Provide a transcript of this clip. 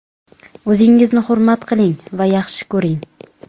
O‘zingizni hurmat qiling va yaxshi ko‘ring.